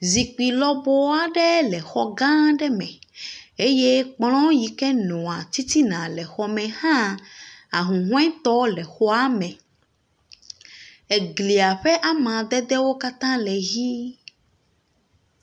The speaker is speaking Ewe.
Zikpui lɔbɔ aɖe le xɔ aɖe me eye kplɔ yike nɔa titina le xɔ me hã. Ahuhɔɛ tɔ le xɔa me. Eglia ƒe amadedewo katã le ʋi.